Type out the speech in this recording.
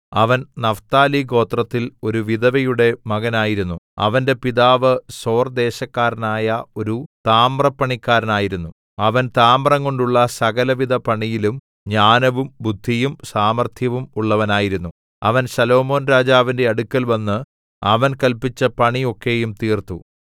അവൻ നഫ്താലിഗോത്രത്തിൽ ഒരു വിധവയുടെ മകൻ ആയിരുന്നു അവന്റെ പിതാവ് സോർ ദേശക്കാരനായ ഒരു താമ്രപ്പണിക്കാരനായിരുന്നു അവൻ താമ്രംകൊണ്ടുള്ള സകലവിധ പണിയിലും ജ്ഞാനവും ബുദ്ധിയും സാമർത്ഥ്യവും ഉള്ളവനായിരുന്നു അവൻ ശലോമോൻരാജാവിന്റെ അടുക്കൽവന്ന് അവൻ കല്പിച്ച പണി ഒക്കെയും തീർത്തു